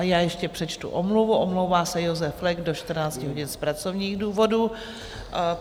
A já ještě přečtu omluvu: omlouvá se Josef Flek do 14 hodin z pracovních důvodů.